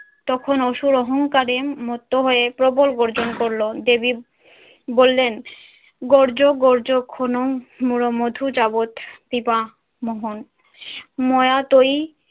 তখন অসুর অহংকারে মত্ত হয়ে প্রবল গর্জন করল। দেবী বললেন গর্জ গর্জ মোরো মধুজাবৎ পিবা মোহন ময়া তৈ